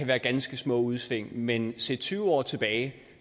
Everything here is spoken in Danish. være ganske små udsving men set tyve år tilbage